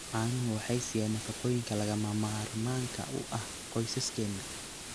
Caanuhu waxay siiyaan nafaqooyinka lagama maarmaanka u ah qoysaskeena.